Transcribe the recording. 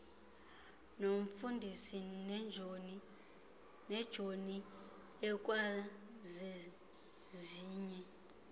nomfundisi nejoni ikwazezinye